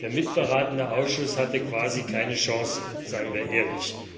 Der mitberatende Ausschuss hatte quasi keine Chance, seien wir ehrlich!